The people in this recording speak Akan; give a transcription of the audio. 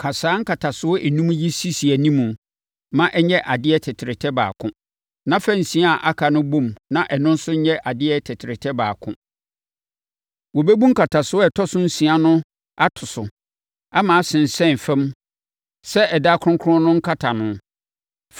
Ka saa nkatasoɔ enum yi sisi anim ma ɛnyɛ adeɛ tɛtrɛtɛ baako; na fa nsia a aka no bɔ mu na ɛno nso nyɛ adeɛ tɛtrɛtɛ baako. Wɔbɛbu nkatasoɔ ɛtɔ so nsia no ato so ama asensɛn fam sɛ ɛdan kronkron no nkatano.